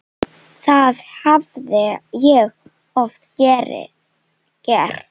Það hafði ég oft gert.